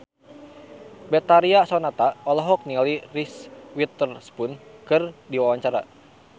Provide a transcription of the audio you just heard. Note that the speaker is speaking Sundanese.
Betharia Sonata olohok ningali Reese Witherspoon keur diwawancara